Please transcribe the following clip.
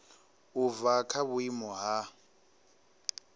u bva kha vhuimo ha